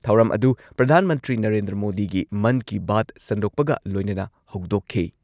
ꯊꯧꯔꯝ ꯑꯗꯨ ꯄ꯭ꯔꯙꯥꯟ ꯃꯟꯇ꯭ꯔꯤ ꯅꯔꯦꯟꯗ꯭ꯔ ꯃꯣꯗꯤꯒꯤ ꯃꯟ ꯀꯤ ꯕꯥꯠ ꯁꯟꯗꯣꯛꯄꯒ ꯂꯣꯏꯅꯅ ꯍꯧꯗꯣꯛꯈꯤ ꯫